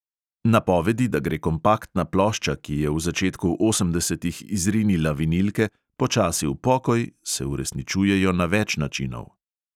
Napovedi, da gre kompaktna plošča, ki je v začetku osemdesetih izrinila vinilke, počasi v pokoj, se uresničujejo na več načinov.